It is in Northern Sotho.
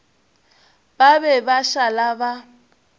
ba be ba šala ba